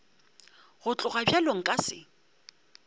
go tloga bjalo nka se